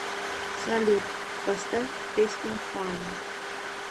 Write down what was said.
салют поставь песня фан